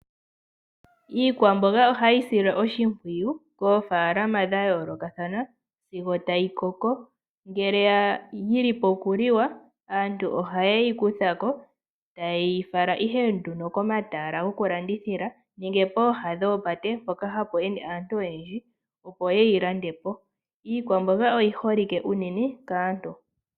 Iikwamboga ohayi silwa oshimpwiyu koofaalama dha yoolokathana sigo tayi koko, ngele ya adha okuliwa aantu ohaye yi kutha ko etaye yi fala komatala goku landithila nenge pooha dhopate mpoka hapu ende aantu oyendji, opo ye yi lande po. Iikwamboga oyi holi ke uunene kaantu.